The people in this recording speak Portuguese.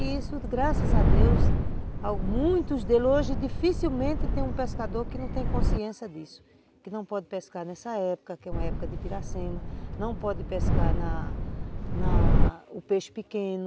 E isso, graças a Deus, muitos deles hoje dificilmente tem um pescador que não tem consciência disso, que não pode pescar nessa época, que é uma época de piracema, não pode pescar na na o peixe pequeno,